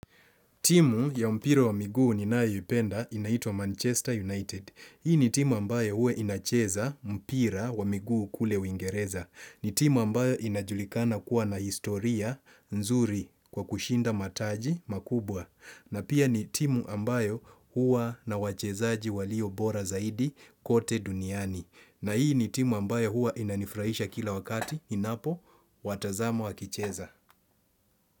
Timu ya mpira wa miguu ninayoipenda inaitwa Manchester United. Hii ni timu ambayo huwa inacheza mpira wa miguu kule Uingereza. Ni timu ambayo inajulikana kuwa na historia nzuri kwa kushinda mataji makubwa. Na pia ni timu ambayo huwa na wachezaji waliobora zaidi kote duniani. Na hii ni timu ambayo huwa inanifurahisha kila wakati ninapowatazama wakicheza.